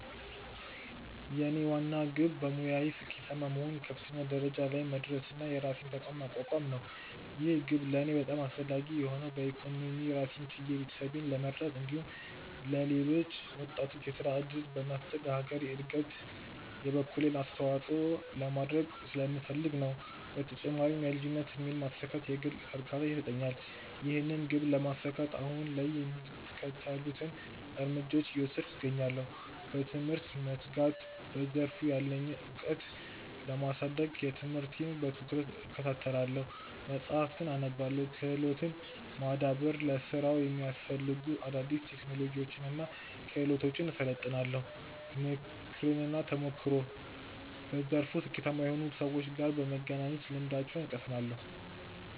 የኔ ዋና ግብ በሙያዬ ስኬታማ በመሆን ከፍተኛ ደረጃ ላይ መድረስና የራሴን ተቋም ማቋቋም ነው። ይህ ግብ ለእኔ በጣም አስፈላጊ የሆነው በኢኮኖሚ ራሴን ችዬ ቤተሰቤን ለመርዳት እንዲሁም ለሌሎች ወጣቶች የሥራ ዕድል በመፍጠር ለሀገሬ ዕድገት የበኩሌን አስተዋጽኦ ለማድረግ ስለምፈልግ ነው። በተጨማሪም የልጅነት ሕልሜን ማሳካት የግል እርካታን ይሰጠኛል። ይህንን ግብ ለማሳካት አሁን ላይ የሚከተሉትን እርምጃዎች እየወሰድኩ እገኛለሁ፦ በትምህርት መትጋት፦ በዘርፉ ያለኝን ዕውቀት ለማሳደግ ትምህርቴን በትኩረት እከታተላለሁ፣ መጻሕፍትን አነባለሁ። ክህሎትን ማዳበር፦ ለሥራው የሚያስፈልጉ አዳዲስ ቴክኖሎጂዎችንና ክህሎቶችን እሰለጥናለሁ። ምክርና ተሞክሮ፦ በዘርፉ ስኬታማ ከሆኑ ሰዎች ጋር በመገናኘት ልምዳቸውን እቀስማለሁ።